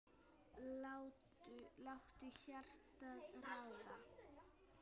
Láttu hjartað ráða.